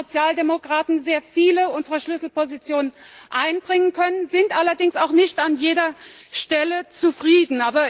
Wir haben als Sozialdemokraten sehr viele unserer Schlüsselpositionen einbringen können, sind allerdings nicht an jeder Stelle zufrieden.